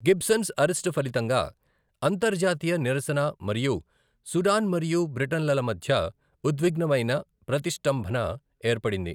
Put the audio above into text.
Gibbons arrest ఫలితంగా అంతర్జాతీయ నిరసన మరియు సుడాన్ మరియు బ్రిటన్లల మధ్య ఉద్విగ్నమైన ప్రతిష్టంభన ఏర్పడింది.